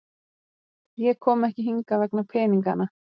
Ég kom ekki hingað vegna peningana.